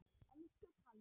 Elsku Kalli.